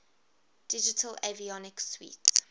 digital avionics suite